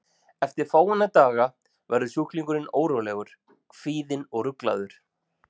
Eftir fáeina daga verður sjúklingurinn órólegur, kvíðinn og ruglaður.